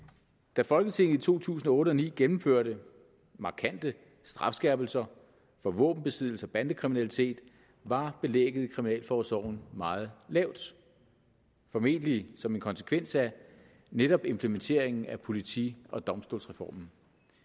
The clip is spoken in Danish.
da folketinget i to tusind og otte og ni gennemførte markante strafskærpelser for våbenbesiddelse og bandekriminalitet var belægget i kriminalforsorgen meget lavt formentlig som en konsekvens af netop implementeringen af politi og domstolsreformen